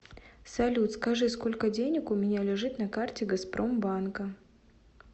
салют скажи сколько денег у меня лежит на карте газпромбанка